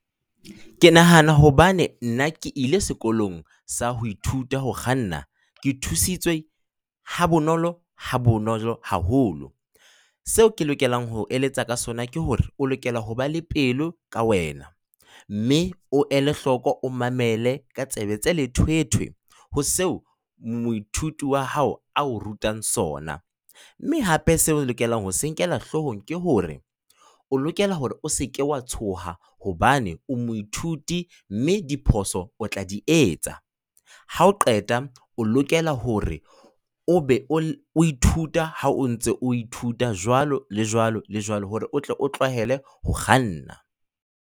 Ke nahana hobane nna ke ile sekolong sa ho ithuta ho kganna. Ke thusitswe ha bonolo, ha bonolo haholo. Seo ke lokelang ho o eletsa ka sona ke hore o lokela hoba le pelo ka wena. Mme o el heloko, o mamele ka tsebe tse lethwethwe ho seo moithuti wa hao a o rutang sona. Mme hape seo o lokelang ho se nkela hloohong ke hore o lokela hore o se ke wa tshoha hobane o moithuti mme diphoso o tla di etsa. Ha o qeta, o lokela hore o be o ithuta ha o ntse o ithuta jwalo le jwalo le jwalo hore o tle o tlwahele ho kganna.